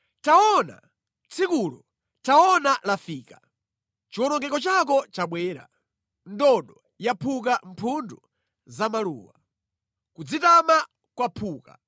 “Taona, tsikulo! Taona, lafika! Chiwonongeko chako chabwera. Ndodo yaphuka mphundu za maluwa. Kudzitama kwaphuka.